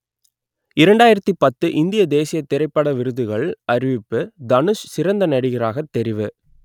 இரண்டாயிரத்து பத்து இந்திய தேசியத் திரைப்பட விருதுகள் அறிவிப்பு தனுஷ் சிறந்த நடிகராகத் தெரிவு